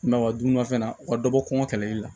I m'a ye wa dumunifɛn na u ka dɔ bɔ kɔngɔ kɛlɛli la